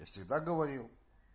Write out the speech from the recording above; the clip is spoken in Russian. я всегда говорил